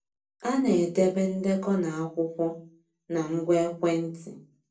A na-edebe ndekọ na akwụkwọ na ngwa ekwentị.